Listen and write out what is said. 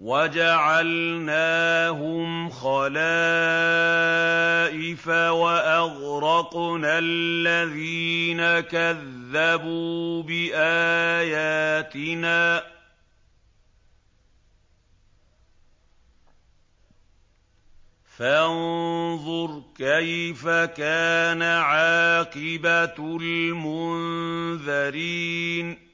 وَجَعَلْنَاهُمْ خَلَائِفَ وَأَغْرَقْنَا الَّذِينَ كَذَّبُوا بِآيَاتِنَا ۖ فَانظُرْ كَيْفَ كَانَ عَاقِبَةُ الْمُنذَرِينَ